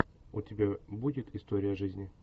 у тебя будет история жизни